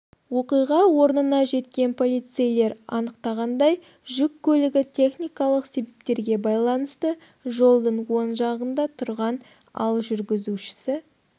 оқиға орнына жеткен полицейлер анықтағандай жүк көлігі техникалық себептерге байланысты жолдың оң жағында тұрған ал жүргізушісі